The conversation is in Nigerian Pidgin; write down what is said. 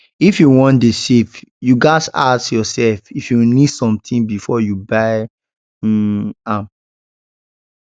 if you wan dey save you ghas ask yourself if you need something before you buy um am